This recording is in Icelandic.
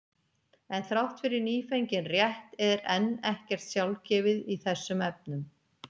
En þrátt fyrir nýfengin rétt er enn ekkert sjálfgefið í þessum efnum.